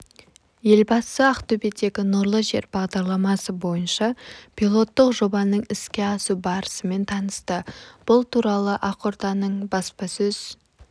елбасы ақтөбедегі нұрлы жер бағдарламасы бойынша пилоттық жобаның іске асу барысымен танысты бұл туралы ақорданың баспасөз